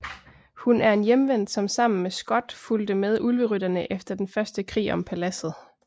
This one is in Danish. Hun er en Hjemvendt som sammen med Skot fulgte med Ulverytterne efter den første krig om Paladset